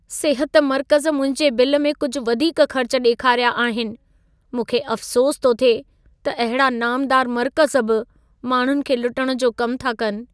सिहत मर्कज़ मुंहिंजे बिल में कुझु वधीक ख़र्च ॾेखारिया आहिनि। मूंखे अफ़सोसु थो थिए त अहिड़ा नामदार मर्कज़ बि माण्हुनि खे लुटण जो कम था कनि।